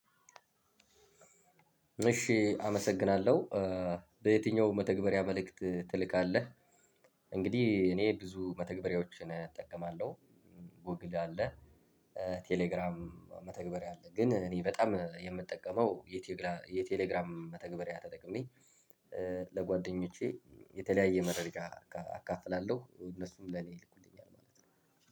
እሺ አመሰግናለሁ በየትኛውም መተግበሪያ መልእክት ትልካለህ? እንግዲህ እኔ ብዙ መተግበሪያዎችን እጠቀማለሁ። ጎግል አለ። ቴሌግራም መተግበር ያለ ግን እኔ በጣም የምጠቀመው የቴሌግራም መተግበሪያ ተጠቅሜ። ለጓደኞቼ የተለያየ መረጃ አካፍላለሁ እነሱም ለኔ ይልኩልኛል ማለት ነው።